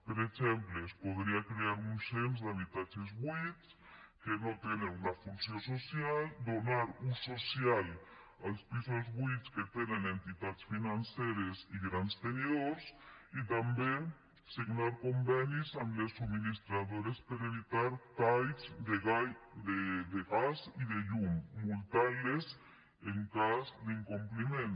per exemple es podria crear un cens d’habitatges buits que no tenen una funció social donar ús social als pisos buits que tenen entitats financeres i grans tenidors i també signar convenis amb les subministradores per evitar talls de gas i de llum i multar les en cas d’incompliment